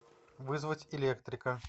вызвать электрика